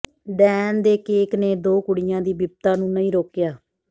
ਡੈਣ ਦੇ ਕੇਕ ਨੇ ਦੋ ਕੁੜੀਆਂ ਦੀ ਬਿਪਤਾ ਨੂੰ ਨਹੀਂ ਰੋਕਿਆ